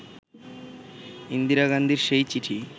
ইন্দিরা গান্ধীর সেই চিঠি